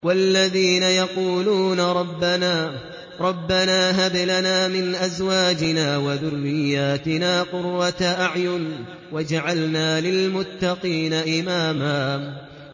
وَالَّذِينَ يَقُولُونَ رَبَّنَا هَبْ لَنَا مِنْ أَزْوَاجِنَا وَذُرِّيَّاتِنَا قُرَّةَ أَعْيُنٍ وَاجْعَلْنَا لِلْمُتَّقِينَ إِمَامًا